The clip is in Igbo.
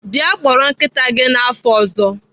Bịa kpọrọ nkịta gị n'afọ ọzọ.